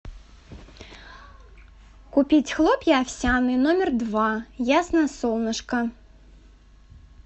купить хлопья овсяные номер два ясное солнышко